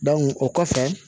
o kɔfɛ